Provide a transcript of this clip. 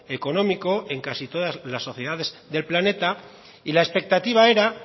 económico en casi todas las sociedades del planeta y la expectativa era